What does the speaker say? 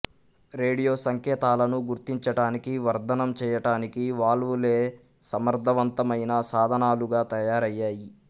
radio సంకేతాలను గుర్తించటానికి వర్ధనం చేయటానికి వాల్వు లే సమర్థవంతమైన సాధనాలుగా తయారయ్యాయి